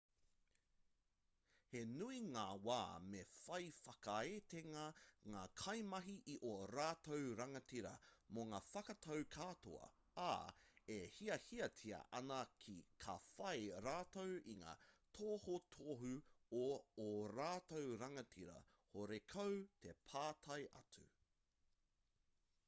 he nui ngā wā me whai whakaaetanga ngā kaimahi i ō rātou rangatira mō ngā whakatau katoa ā e hiahiatia ana ka whai rātou i ngā tohutohu o ō rātou rangatira horekau te pātai atu